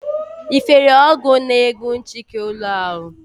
Ị fere ọgwụ na-egbu nchịki ụlọ ahụ?